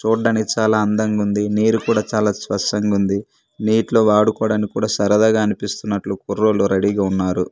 చూడ్డానికి చాలా అందంగుంది నీరు కూడా చాలా స్పష్టంగుంది నీటిలో వాడుకోడానికి కూడా సరదాగా అనిపిస్తున్నట్లు కుర్రోళ్ళు రెడీ గా ఉన్నారు.